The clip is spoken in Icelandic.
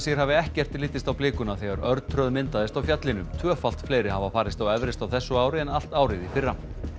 hafi ekkert litist á blikuna þegar örtröð myndaðist á fjallinu tvöfalt fleiri hafa farist á Everest á þessu ári en allt árið í fyrra